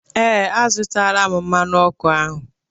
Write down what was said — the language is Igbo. Ee, azụtaala m mmanụ ọkụ ahụ.